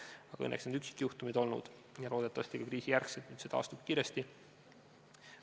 Aga õnneks need on olnud üksikjuhtumid ja loodetavasti pärast kriisi endine olukord taastub kiiresti.